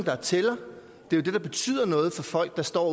der tæller det er det der betyder noget for folk der står